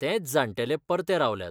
तेंच जाण्टेले परते रावल्यात.